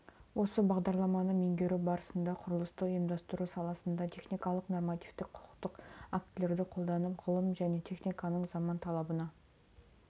осы бағдарламаны меңгеру барысында құрылысты ұйымдастыру саласында техникалық нормативтік құқықтық актілерді қолданып ғылым және техниканың заман талабына